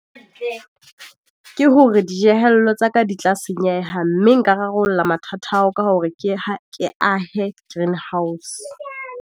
Okay, ke hore dijehello tsa ka di tla senyeha, mme nka rarolla mathata ao ka hore ke ahe greenhouse.